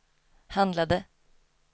handlade